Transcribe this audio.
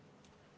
Ilusat päeva!